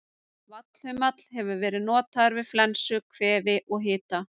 Vallhumall hefur verið notaður við flensu, kvefi og hita.